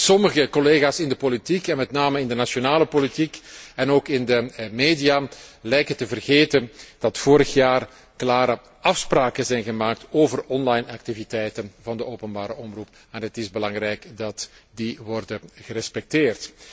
Sommige collega's in de politiek, en met name in de nationale politiek en ook in de media, lijken te vergeten dat vorig jaar klare afspraken zijn gemaakt over activiteiten van de openbare omroep, en het is belangrijk dat die worden gerespecteerd.